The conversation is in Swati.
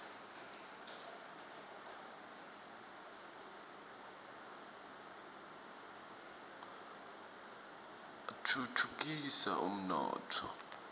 atfutfukisa umnotfo